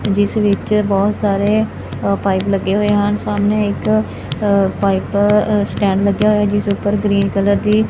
ਜਿਸ ਵਿੱਚ ਬਹੁਤ ਸਾਰੇ ਅ ਪਾਈਪ ਲੱਗੇ ਹੋਏ ਹਨ ਸਾਹਮਣੇ ਇੱਕ ਪਾਈਪ ਅ ਸਟੈਂਡ ਲੱਗਿਆ ਹੋਇਆ ਐ ਜਿਸ ਉੱਪਰ ਗ੍ਰੀਨ ਕਲਰ ਦੀ--